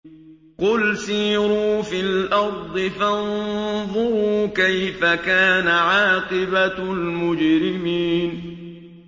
قُلْ سِيرُوا فِي الْأَرْضِ فَانظُرُوا كَيْفَ كَانَ عَاقِبَةُ الْمُجْرِمِينَ